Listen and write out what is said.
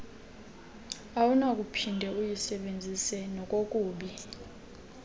awunakuphinde uyisebenzise nokokuba